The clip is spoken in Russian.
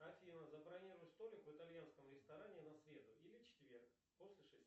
афина забронируй столик в итальянском ресторане на среду или четверг после шести